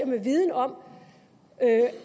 med viden om